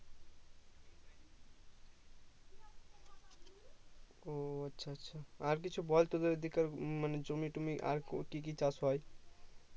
ও আচ্ছা আচ্ছা আর কিছু বল তোদের ওই দিককার মানে জমি টমি আর কি কি চাষ হয়